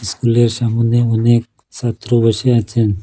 ইস্কুলের সামোনে অনেক ছাত্র বসে আছেন।